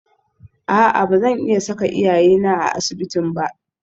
A'a ba zan iya saka iyayena a asibitin ba